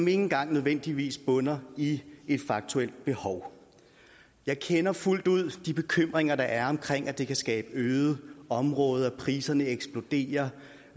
engang nødvendigvis bunder i et faktuelt behov jeg kender fuldt ud de bekymringer der er om at det kan skabe øde områder at priserne eksploderer